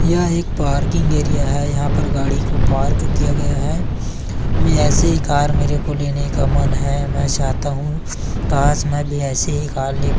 यह एक parking area है यहाँ पर गाड़ी को पार्क किया गया है ऐसे ही कार मेरे को लेने का मन हैं मै चाहता हू काश मै भी ऐसे ही कार ले--